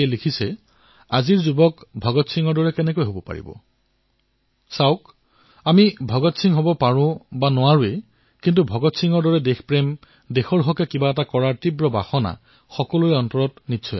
তেওঁ লিখিছে আজিৰ তৰুণ প্ৰজন্ম কিদৰে ভগৎ সিং হব পাৰে চাওক আমি ভগৎ সিং হব পাৰো নে নোৱাকো নাজানো কিন্তু ভগৎ সিঙৰ দৰে দেশ প্ৰেম দেশৰ বাবে কিবা এটা কৰাৰ ইচ্ছা আমাৰ হৃদয়ত থাকিব পাৰে